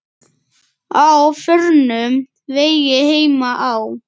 Á förnum vegi heima á